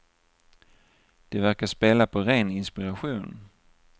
De verkar spela på ren inspiration.